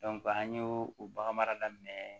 an y'o o bagan mara daminɛ